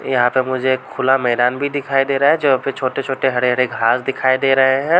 यहाँ पे मुझे एक खुला मैदान भी दिखाई दे रहा हैं जो यहाँ पे छोटे-छोटे हरे-हरे घास दिखाई दे रहे हैं।